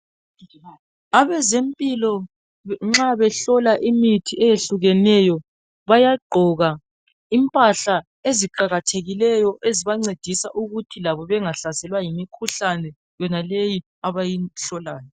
Abezempilo nxa behlola imithi eyehlukeneyo, bayagqoka impahla eziqakathekileyo ezibancedisa ukuthi labo bengahlaselwa yimikhuhlane yonaleyi abayihlolayo.